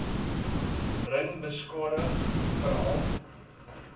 ring beskadig veral